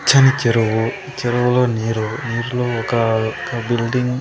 పచ్చని చెరువు చెరువులో నీరు నీరులో ఒకా ఒక బిల్డింగ్ .